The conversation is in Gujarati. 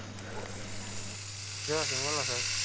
Yes બોલો સાહેબ,